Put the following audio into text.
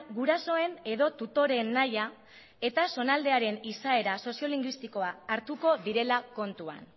gurasoen edo tutoreen nahia eta zonaldearen izaera soziolingüistikoa hartuko direla kontuan